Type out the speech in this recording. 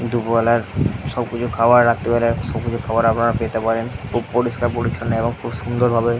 দুপুর বেলার সব কিছু খাওয়ার রাত্রি বেলার সব কিছু খাওয়ার আপনারা পেতে পারেন খুব পরিষ্কার পরিচ্ছন্ন এবং খুব সুন্দর ভাবে --